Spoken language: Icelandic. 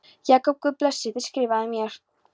Jakob Guð blessi þig Skrifaðu mér.